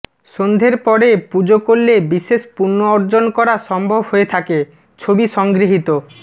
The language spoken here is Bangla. সন্ধের পরে পুজো করলে বিশেষ পুণ্য অর্জন করা সম্ভব হয়ে থাকে ছবি সংগৃহীত